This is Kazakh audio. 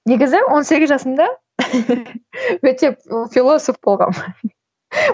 негізі он сегіз жасымда өте философ болғанмын